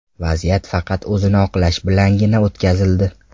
Vaziyat faqat o‘zini oqlash bilangina o‘tkazildi.